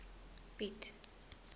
piet